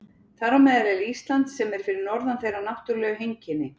Þar á meðal er Ísland sem er fyrir norðan þeirra náttúrlegu heimkynni.